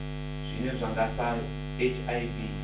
zwine zwa nga sa hiv